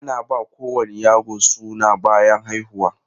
Ana ba kowane yaro suna bayan haihuwa.